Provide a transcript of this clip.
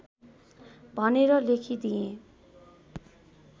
भनेर लेखिदिएँ